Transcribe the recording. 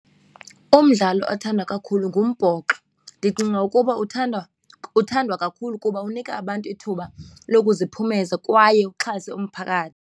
Umdlalo othandwa kakhulu ngumbhoxo. Ndicinga ukuba uthandwa, uthandwa kakhulu kuba unika abantu ithuba lokuziphumeza kwaye uxhase .